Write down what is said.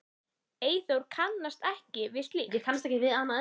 Eyþór kannast ekki við slíkt.